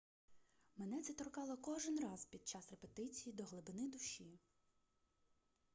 мене це торкало кожен раз під час репетиції до глибини душі